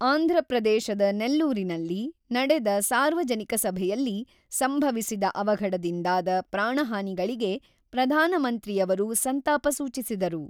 ಆಂಧ್ರಪ್ರದೇಶದ ನೆಲ್ಲೂರಿನಲ್ಲಿ ನಡೆದ ಸಾರ್ವಜನಿಕ ಸಭೆಯಲ್ಲಿ ಸಂಭವಿಸಿದ ಅವಘಡದಿಂದಾದ ಪ್ರಾಣಹಾನಿಗಳಿಗೆ ಪ್ರಧಾನಮಂತ್ರಿಯವರು ಸಂತಾಪ ಸೂಚಿಸಿದರು